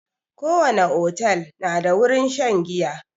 Ko wani otel na da wurin shan giya